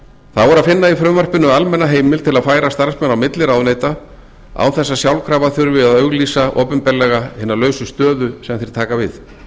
að finna í frumvarpinu almenna heimild til að færa starfsmenn á milli ráðuneyta án þess að sjálfkrafa þurfi að auglýsa opinberlega hina lausu stöðu sem þeir taka við